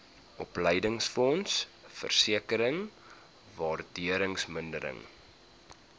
opleidingsfonds versekering waardevermindering